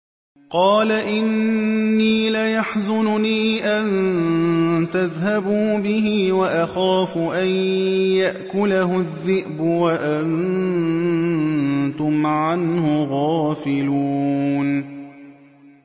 قَالَ إِنِّي لَيَحْزُنُنِي أَن تَذْهَبُوا بِهِ وَأَخَافُ أَن يَأْكُلَهُ الذِّئْبُ وَأَنتُمْ عَنْهُ غَافِلُونَ